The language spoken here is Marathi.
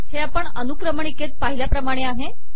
हे आपण अनुक्रमणिकेत पाहिल्याप्रमाणेच आहे